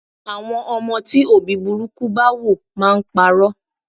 Àwọn ọmọ tí òbí burúkú bá wò máa ń pa'rọ́.